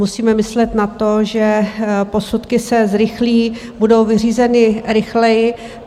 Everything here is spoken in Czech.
Musíme myslet na to, že posudky se zrychlí, budou vyřízeny rychleji.